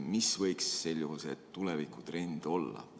Mis võiks sel juhul see tulevikutrend olla?